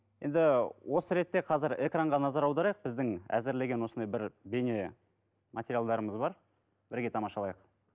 енді осы ретте қазір экранға назар аударайық біздің әзірлеген осындай бір бейне материалдарымыз бар бірге тамашалайық